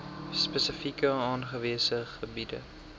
spesifiek aangewese gebiede